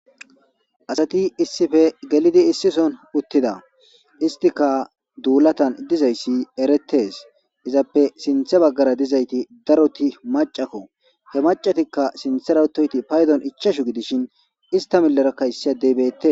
asati issife gelidi issison uttida istika duulatan dizayssi eretes izappe sinthe baggara dizayti daroti macako he macatikka sintherautoyti paydon ichashu gidishin ista millerakkayss deybette